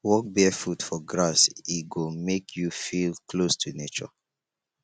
walk barefoot for grass e go make you feel close to nature